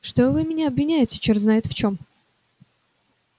что вы меня обвиняете черт знает в чем